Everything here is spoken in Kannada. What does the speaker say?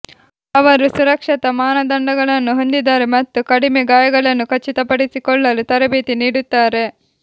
ಅವರು ಸುರಕ್ಷತಾ ಮಾನದಂಡಗಳನ್ನು ಹೊಂದಿದ್ದಾರೆ ಮತ್ತು ಕಡಿಮೆ ಗಾಯಗಳನ್ನು ಖಚಿತಪಡಿಸಿಕೊಳ್ಳಲು ತರಬೇತಿ ನೀಡುತ್ತಾರೆ